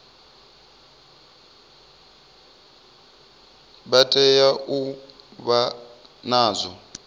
vha tea u vha nazwo